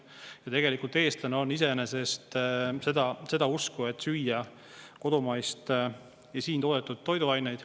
Ja tegelikult eestlane on iseenesest seda usku, et kodumaist ja süüa siin toodetud toiduaineid.